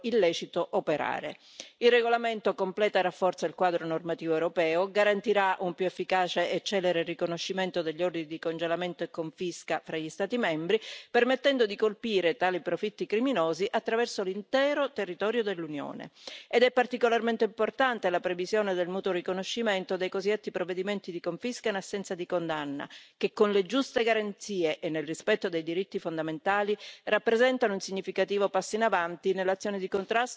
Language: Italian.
Il regolamento completa e rafforza il quadro normativo europeo, garantirà un più efficace e celere riconoscimento degli ordini di congelamento e confisca fra gli Stati membri, permettendo di colpire tali profitti criminosi attraverso l'intero territorio dell'Unione, ed è particolarmente importante la previsione del mutuo riconoscimento dei cosiddetti provvedimenti di confisca in assenza di condanna, che con le giuste garanzie e nel rispetto dei diritti fondamentali, rappresentano un significativo passo in avanti nell'azione di contrasto alle organizzazioni criminali.